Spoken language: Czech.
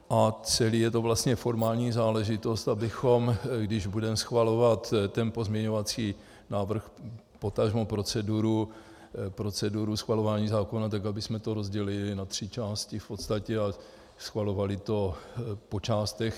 A celé je to vlastně formální záležitost, abychom když budeme schvalovat ten pozměňovací návrh, potažmo proceduru schvalování zákona, tak abychom to rozdělili na tři části v podstatě a schvalovali to po částech.